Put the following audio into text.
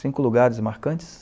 Cinco lugares marcantes?